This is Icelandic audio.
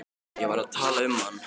Ég var að tala um hann.